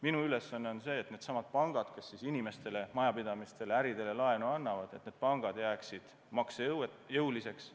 Minu ülesanne on see, et needsamad pangad, kes siis inimestele, majapidamistele, äridele laenu annavad, jääksid maksejõuliseks.